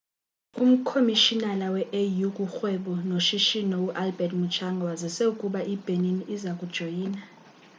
umkhomishinala we-au kurhwebo noshishino u-albert muchanga wazise ukuba ibenin iza kujoyina